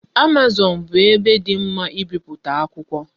Amazon bu ebe di mma ibiputa akwukwo